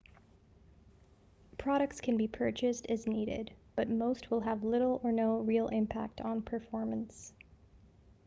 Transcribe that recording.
products can be purchased as needed but most will have little or no real impact on performance